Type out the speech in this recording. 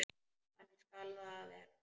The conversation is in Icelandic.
Þannig skal það verða.